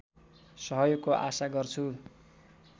सहयोगको आशा गर्छु